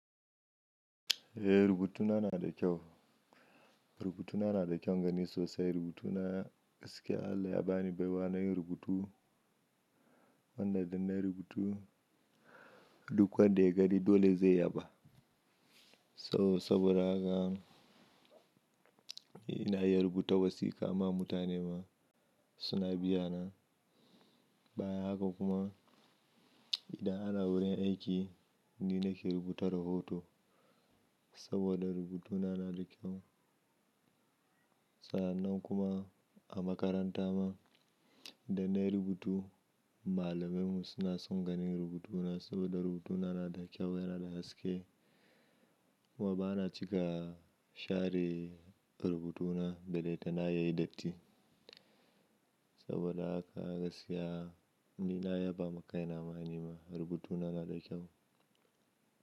Eh, rubutuna na da kyau. Rubutuna na da kyaun gani sosai. Rubutuna gaskiya Allah ya bani baiwa na yin rubutu. Wanda da na rubutu duk wanda ya gani dole zai yaba. So saboda haka ina iya rubuta wasiƙa ma mutane ma suna biyana. Bayan haka kuma idan ana wurin aiki ni nake rubuta rahoto saboda rubutuna na da kyau. Sa'annan kuma a makaranta ma da na rubutu malaman mu suna son ganin rubutuna saboda rubutuna na da kyau yana da haske. Kuma ba na cika share rubutuna da dai ta na yayi datti. Saboda haka gaskiya ni na yaba ma kaina ma nima rubutuna na da kyau.